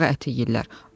Qurbağa əti yeyirlər.